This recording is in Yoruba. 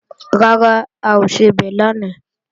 Rárá, a ò sebẹ̀ lánàá